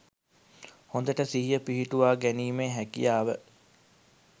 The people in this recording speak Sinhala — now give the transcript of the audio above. හොඳට සිහිය පිහිටුවා ගැනීමේ හැකියාව